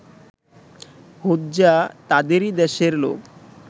হোজ্জা তাদেরই দেশের লোক